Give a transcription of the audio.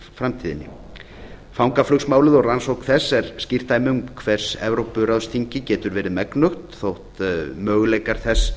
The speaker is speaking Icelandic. framtíðinni fangaflugsmálið og rannsókn þess er skýrt dæmi um það hvers evrópuráðsþingið getur verið megnugt þótt möguleikar þess